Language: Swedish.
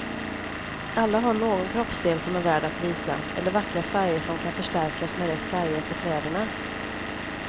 Alla har någon kroppsdel som är värd att visa, eller vackra färger som kan förstärkas med rätt färger på kläderna.